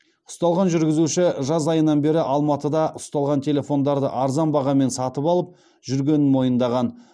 ұсталған жүргізуші жаз айынан бері алматыда ұсталған телефондарды арзан бағамен сатып алып жүргенін мойындаған